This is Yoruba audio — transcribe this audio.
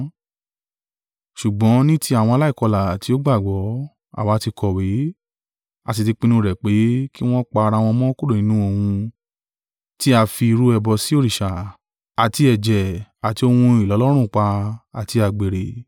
Ṣùgbọ́n ní ti àwọn aláìkọlà tí ó gbàgbọ́, àwa tí kọ̀wé, a sì ti pinnu rẹ̀ pé, kí wọn pa ara wọn mọ́ kúrò nínú ohun tí a fi rú ẹbọ sí òrìṣà, àti ẹ̀jẹ̀ àti ohun ìlọ́lọ́rùnpa, àti àgbèrè.”